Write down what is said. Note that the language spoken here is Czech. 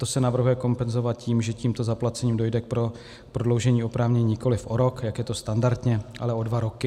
To se navrhuje kompenzovat tím, že tímto zaplacením dojde k prodloužení oprávnění nikoli o rok, jak je to standardně, ale o dva roky.